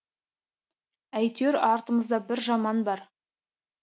әйтеуір артымызда бір жаман бар